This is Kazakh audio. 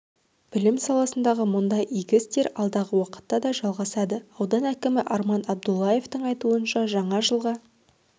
білім саласындағы мұндай игі істер алдағы уақытта да жалғасады аудан әкімі арман абдуллаевтың айтуынша жаңа жылға